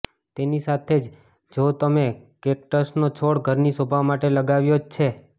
તેની સાથે જ જો તમે કેકટસનો છોડ ઘરની શોભા માટે લગાવ્યો જ છે